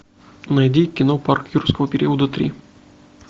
найди кино парк юрского периода три